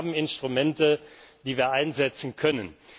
Wir haben Instrumente, die wir einsetzen können.